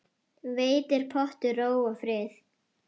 Veitir pottur ró og frið.